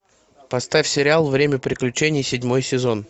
поставь сериал время приключений седьмой сезон